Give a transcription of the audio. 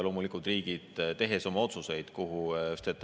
Loomulikult riigid, tehes oma otsuseid, kuhu …